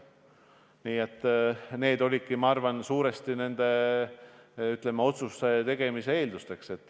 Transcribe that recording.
Ma arvan, et need aspektid olidki suuresti nende otsuste tegemise eelduseks.